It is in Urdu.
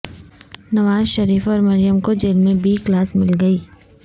نواز شریف اور مریم کو جیل میں بی کلاس مل گئی